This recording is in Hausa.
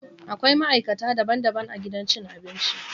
Akwai maikata daban-daban a gidan cin abinci